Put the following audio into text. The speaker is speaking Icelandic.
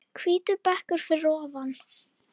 Hvítur bekkur að ofan.